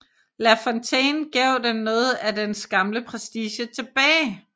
La Fontaine gav den noget af dens gamle prestige tilbage